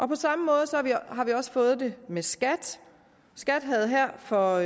på samme måde har vi også fået det med skat skat havde her for